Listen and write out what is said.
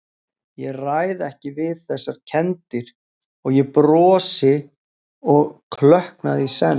Ég ræð ekki við þessar kenndir- og ég brosi og klökkna í senn.